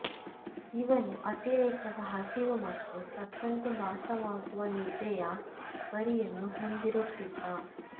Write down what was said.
ಇವನು ಅತಿರೇಕದ ಹಸಿವು ಮತ್ತು ಸತ್ತಂತೆ ಭಾಸವಾಗುವ ನಿದ್ರೆಯ ಪರಿಯನ್ನು ಹೊಂದಿರುತ್ತಿದ್ದ